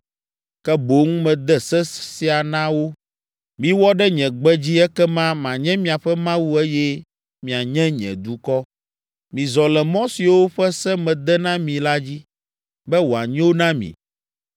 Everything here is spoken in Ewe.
Ke boŋ mede se sia na wo. Miwɔ ɖe nye gbe dzi ekema manye miaƒe Mawu eye mianye nye dukɔ. Mizɔ le mɔ siwo ƒe se mede na mi la dzi, be wòanyo na mi.